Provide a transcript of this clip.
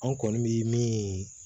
An kɔni bi min